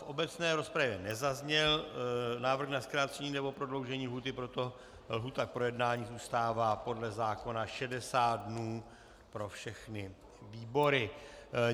V obecné rozpravě nezazněl návrh na zkrácení nebo prodloužení lhůty, proto lhůta k projednání zůstává podle zákona 60 dnů pro všechny výbory.